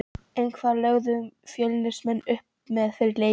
En hvað lögðum Fjölnismenn upp með fyrir leikinn?